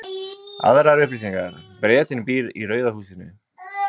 Aðrar upplýsingar: Bretinn býr í rauða húsinu.